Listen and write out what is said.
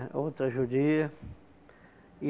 Outra judia.